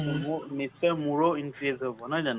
মোৰ নিশ্চয় মোৰো increase হন নহয় জানো